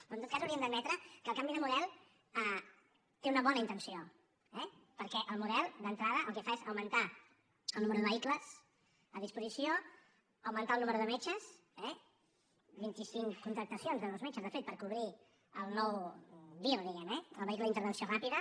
però en tot cas hauríem d’admetre que el canvi de model té una bona intenció eh perquè el model d’entrada el que fa és augmentar el número de vehicles a disposició augmentar el número de metges eh vint i cinc contractacions de nous metges de fet per cobrir el nou vir diguem ne el vehicle d’intervenció ràpida